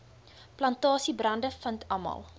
plantasiebrande vind almal